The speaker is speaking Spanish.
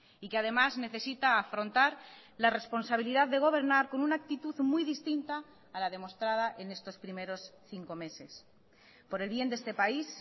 y que además necesita afrontar la responsabilidad de gobernar con una actitud muy distinta a la demostrada en estos primeros cinco meses por el bien de este país